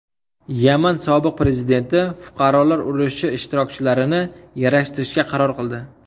Yaman sobiq prezidenti fuqarolar urushi ishtirokchilarini yarashtirishga qaror qildi.